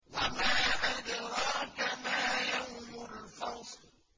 وَمَا أَدْرَاكَ مَا يَوْمُ الْفَصْلِ